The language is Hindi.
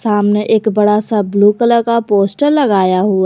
सामने एक बड़ा सा ब्लू कलर का पोस्टर लगाया हुआ--